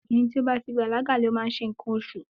Ọmọbìnrin tí ó bá ti bàlágà máa ń ṣe nǹkan oṣù.